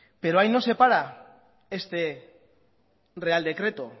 pero ahí no se para este real decreto